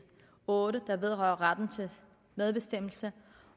otte der vedrører retten til medbestemmelse